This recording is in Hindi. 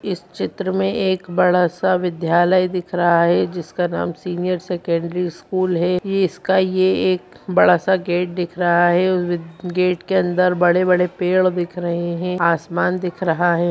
इस चित्र में एक बड़ा-सा विद्यालय दिख रहा है जिसका नाम सीनियर सेकेंडरी स्कूल है ये इसका ये एक बड़ा-सा गेट दिख रहा है और गेट के अंदर बड़े-बड़े पेड़ दिख रहे है आसमान दिख रहा है।